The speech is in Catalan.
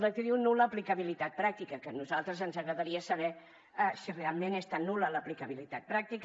que diuen nul·la aplicabilitat pràctica que a nosaltres ens agradaria saber si realment és tan nul·la l’aplicabilitat pràctica